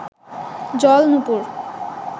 জল নূপুর